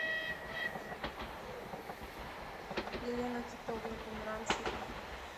елена титовна померанцева